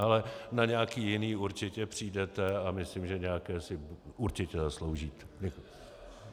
Ale na nějaké jiné určitě přijdete a myslím, že nějaké si určitě zasloužíte.